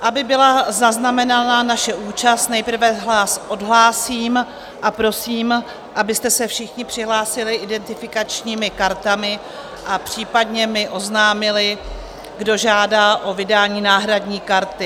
Aby byla zaznamenána naše účast, nejprve vás odhlásím a prosím, abyste se všichni přihlásili identifikačními kartami a případně mi oznámili, kdo žádá o vydání náhradní karty.